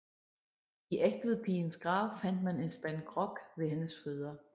I Egtvedpigens grav fandt man en spand grog ved hendes fødder